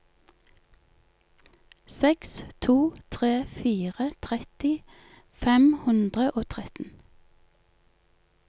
seks to tre fire tretti fem hundre og tretten